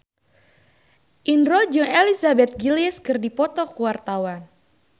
Indro jeung Elizabeth Gillies keur dipoto ku wartawan